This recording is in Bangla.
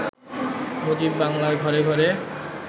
মুজিব বাংলার ঘরে ঘরে